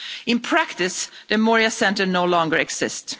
In practice, the Moria centre no longer exists.